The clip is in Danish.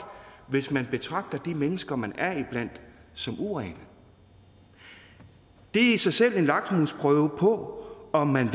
hvis man betragter de mennesker man er iblandt som urene det er i sig selv en lakmusprøve på om man